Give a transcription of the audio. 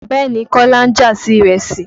Bẹ́ẹ̀ni, Kọ́lá ń jà sí ìrẹsì.